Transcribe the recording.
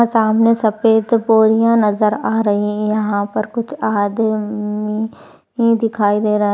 सामने सफ़ेद बोरिया नजर आ रही हैं। यहा पर कुछ आ दमी दिखाई दे रहा है।